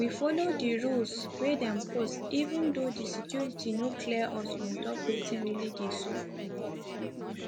we follow di rules wey dem post even though di security no clear us on top wetin really dey sup